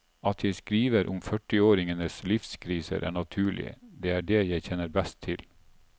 At jeg skriver om førtiåringenes livskriser, er naturlig, det er det jeg kjenner best til.